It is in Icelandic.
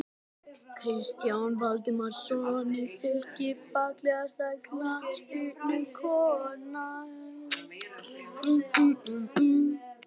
Kristján Valdimarsson í Fylki Fallegasta knattspyrnukonan?